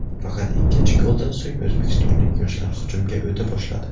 Faqat ikkinchi goldan so‘ng o‘zbekistonlik yoshlar hujumga o‘ta boshladi.